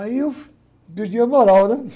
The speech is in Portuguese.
Aí eu perdi a moral, né?